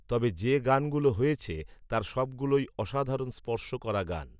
তবে যে গান গুলো হয়েছে তার সব গুলোই অসধারন স্পর্শ করা গান